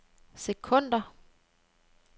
sekunder